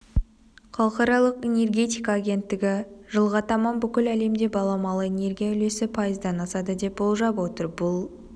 халықаралық энергетика агенттігі жылға таман бүкіл әлемде баламалы энергия үлесі пайыздан асады деп болжап отыр бұл